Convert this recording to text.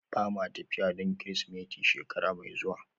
Ba ma tafiya don Kirsimeti shekara mai zuwa